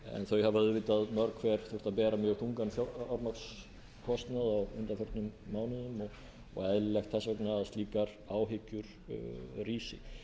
þau hafa auðvitað mörg hver þurft að bera mjög þungan fjármagnskostnað á undanförnum mánuðum og eðlilegt þess vegna að slíkar áhyggjur rísi